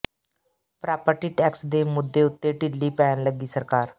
property tax ਦੇ ਮੁੱਦੇ ਉੱਤੇ ਢਿੱਲੀ ਪੈਣ ਲੱਗੀ ਸਰਕਾਰ